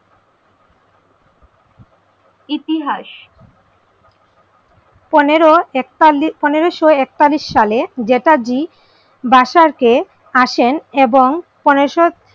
ইতিহাস, পনেরো একতালি পনেরোশো একতাল্লিশ সালে জেঠা জী বাসাতে আসেন এবং পনেরোশো,